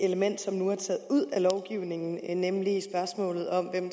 element som nu er taget ud af lovgivningen nemlig spørgsmålet om hvem